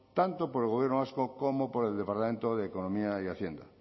tanto por el gobierno vasco como por el departamento de economía y hacienda